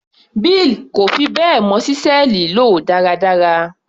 Bill kò fi bẹ́ẹ̀ mọ ṣísẹ́ẹ̀lì lò dáradára.